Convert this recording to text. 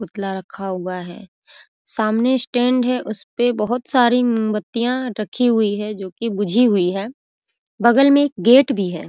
पुतला रखा हुआ है सामने स्टैंड है उसपे बहुत सारी मोमबत्तियाँ रखी हुई हैं जो की बूझी हुई हैं बगल में एक गेट भी है।